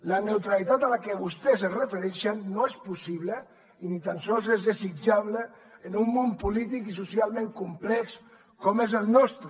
la neutralitat a la que vostès es refereixen no és possible i ni tan sols és desitjable en un món polític i socialment complex com és el nostre